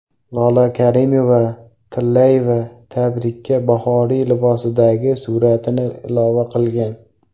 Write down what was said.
Lola Karimova-Tillayeva tabrikka bahoriy libosdagi suratini ilova qilgan.